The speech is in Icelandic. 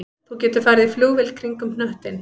Þú getur farið í flugvél kringum hnöttinn